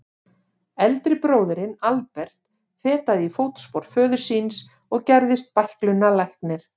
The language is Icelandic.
Eldri bróðirinn, Albert, fetaði í fótspor föður síns og gerðist bæklunarlæknir.